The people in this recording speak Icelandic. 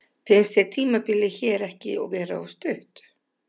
Finnst þér tímabilið hér ekki vera of stutt?